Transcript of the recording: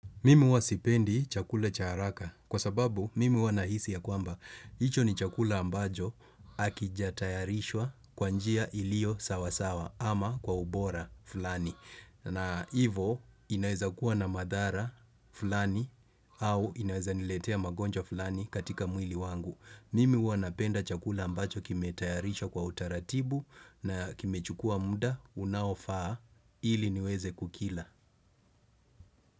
Mimi huwa sipendi chakula cha haraka kwa sababu mimi huwa nahisi ya kwamba. Hicho ni chakula ambajo hakijatayarishwa kwa njia iliyo sawasawa ama kwa ubora fulani. Na hivo inaweza kuwa na madhara fulani au inaweza niletea magonjwa fulani katika mwili wangu. Mimi huwa napenda chakula ambacho kimetayarishwa kwa utaratibu na kimechukua mda unaofaa ili niweze kukila.